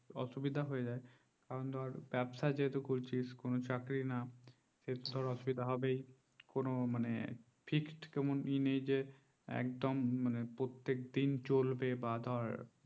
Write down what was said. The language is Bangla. অসুবিধা হয়ে যায় তাহলে ব্যবসা যেহেতু করছি কোনো চাকরি না কিছু অসুবিধা হবে কোনো মানে first মানে ইনেই একদম প্রতিক দিন চলবে বা ধর